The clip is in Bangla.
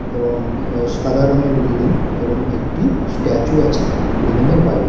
এবং আ সাদা রঙের বিল্ডিং এবং একটি স্ট্যাচু আছে বিল্ডিং -এর বাইরে।